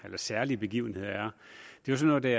af hvad særlige begivenheder er er jo sådan